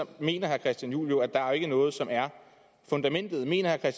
mener herre christian juhl jo at der ikke er noget som er fundamentet mener herre